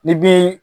Ni bin